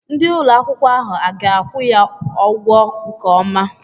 Ndị ụlọ akwụkwọ ahụ a ga-akwụ ya ụgwọ nke ọma?